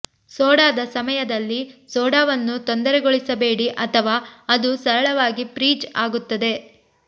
ಸೋಡಾದ ಸಮಯದಲ್ಲಿ ಸೋಡಾವನ್ನು ತೊಂದರೆಗೊಳಿಸಬೇಡಿ ಅಥವಾ ಅದು ಸರಳವಾಗಿ ಫ್ರೀಜ್ ಆಗುತ್ತದೆ